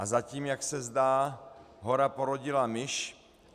A zatím, jak se zdá, hora porodila myš.